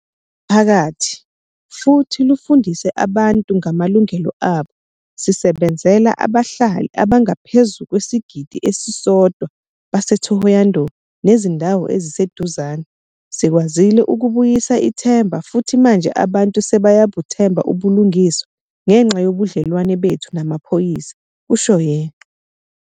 ."zomphakathi futhi lufundise abantu ngamalungelo abo. Sisebenzela abahlali abangaphezu kwesigidi esisodwa base-Thohoyandou nezindawo eziseduzane. Sikwazile ukubuyisa ithemba futhi manje abantu sebeya buthemba ubulungiswa ngenxa yobudlelwane bethu namaphoyisa," kusho yena.